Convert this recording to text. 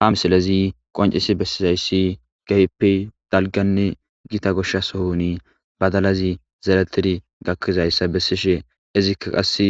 Ha misilezi qonicises besizays kehipe gitta daliga sohon badalazi zeretidi gakidayisa besishe izika qasi